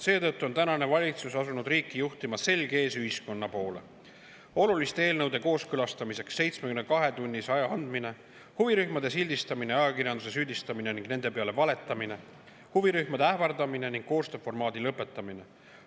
Seetõttu on tänane valitsus asunud riiki juhtima, olles seljaga ühiskonna poole – oluliste eelnõude kooskõlastamiseks 72‑tunnise aja andmine, huvirühmade sildistamine, ajakirjanike süüdistamine ning nende peale valetamine, huvirühmade ähvardamine ning koostööformaadi lõpetamine.